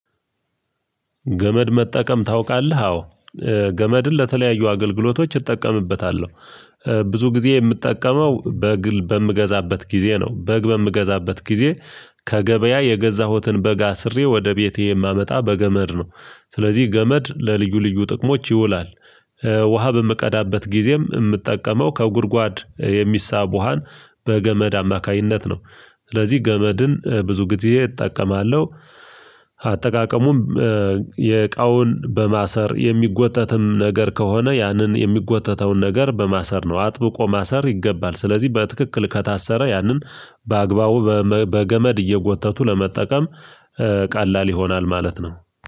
ገመድ መጠቀም ታውቃለህ አ? ገመድን ለተለያዩ አገልግሎቶች እጠቀምበታለሁ ብዙ ጊዜ የምትጠቀመው በግ በምገዛበት ጊዜ ነው በግ በምገዛበት ጊዜ ከገበያ የገዛሁትን በግ አስሬ ወደ ቤቴ የማመጣ በገመድ ነው ስለዚህ ገመድ ለልዩ ልዩ ጥቅሞች ይውላል ውሃ በምቀዳበት ጊዜም የምትጠቀመው ከጉድጓድ የሚሳብ ውሃን በገመድ አማካኝነት ነው ስለዚህ ገመድን ብዙ ጊዜ እጠቀማለሁ፤ አጠቃቀሙም የእቃውን በማሰር የሚጎተትም ነገር ከሆነ ያንን የሚጎተተውን ነገር በማሰር ነው አጥብቆ ማሰር ይገባል ስለዚህ በትክክል ከታሰረ ያንን በአግባቡ በገመድ እየጎተቱ ለመጠቀም ቀላል ይሆናል ማለት ነው።